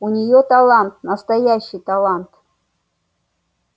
у неё талант настоящий талант